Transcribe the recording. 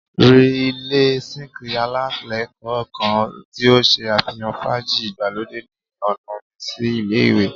Ri ile zinc alailẹgbẹ kan ti o ṣe afihan faaji igbalode ni ọna mi si ile-iwe